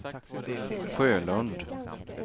Sjölund